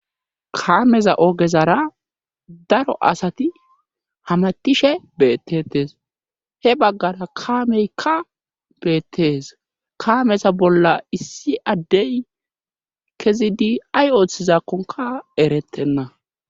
kaameza ogezara daro asati hamattishe bettetes he baggara kaameykka beettees kaameza bolla issi addey kezidi ay ooththizakkonka erettenna